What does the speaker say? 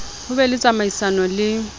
ho be le tsamaisano le